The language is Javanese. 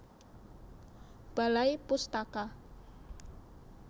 Balai Pustaka